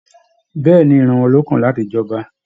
Bẹ̀ẹ́ni, ìran wọn ló kan láti j'ọba.